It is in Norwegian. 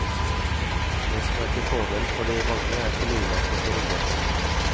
Det som er til fordel for de mange, er til ulempe for de få.